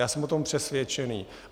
Já jsem o tom přesvědčen.